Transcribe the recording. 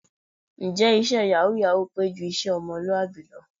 Ǹjẹ́ iṣẹ́ yàwúù-yàwúù pé ju iṣẹ́ ọmọlúwàbí lọ?